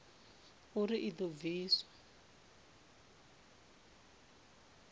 na uri i do pfiswa